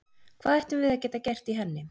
Hvað ættum við að geta gert í henni?